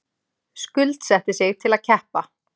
Skuldsetti sig til að keppa